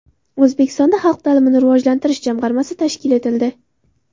O‘zbekistonda xalq ta’limini rivojlantirish jamg‘armasi tashkil etildi.